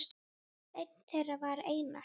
Einn þeirra var Einar